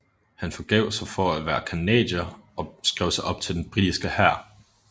Han forgav sig for at være canadier og skrev sig op til den britiske hær